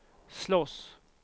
slåss